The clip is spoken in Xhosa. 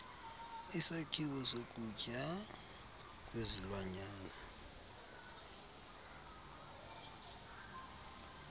isakhiwo sokutya kwezilwanyana